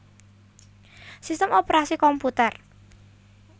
Sistem Operasi komputer